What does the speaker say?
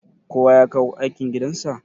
kowa ya kawo aikin gidansa?